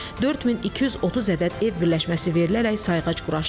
4230 ədəd ev birləşməsi verilərək sayğac quraşdırılıb.